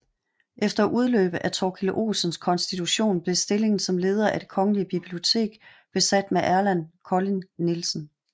Efter udløb af Torkil Olsens konstitution blev stillingen som leder af Det Kongelige Bibliotek besat med Erland Kolding Nielsen